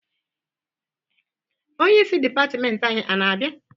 Onyeisi dịpatịmentị anyị ana-abịa?